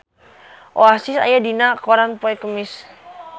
Oasis aya dina koran poe Kemis